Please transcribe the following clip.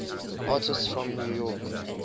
artists from new york